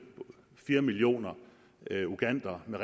fire millioner ugandere med